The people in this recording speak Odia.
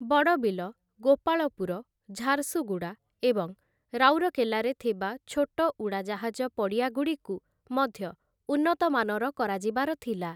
ବଡ଼ବିଲ, ଗୋପାଳପୁର, ଝାରସୁଗୁଡ଼ା ଏବଂ ରାଉରକେଲାରେ ଥିବା ଛୋଟ ଉଡ଼ାଜାହାଜ ପଡ଼ିଆଗୁଡ଼ିକୁ ମଧ୍ୟ ଉନ୍ନତମାନର କରାଯିବାର ଥିଲା ।